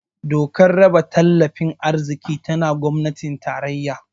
Dokar raba tattalin arziki tana gwamnatin tarayya